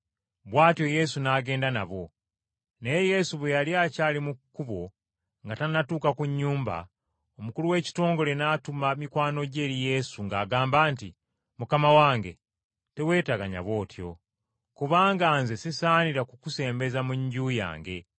Bw’atyo Yesu n’agenda nabo. Naye Yesu bwe yali akyali mu kkubo nga tannatuuka ku nnyumba, omukulu w’ekitongole n’atuma mikwano gye eri Yesu ng’agamba nti, “Mukama wange, teweeteganya bw’otyo, kubanga nze sisaanira kukusembeza mu nju yange.